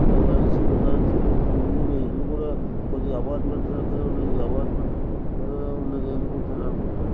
చుట్టూ ఇండ్లు ఉన్నయ్. ఇండ్లు కూడా కొద్దిగా అపార్ట్మెంట్స్ లెక్కనే ఉన్నది. అపార్ట్మెంట్ లా ఉన్నది. అని నేను అనుకుంటున్నాను.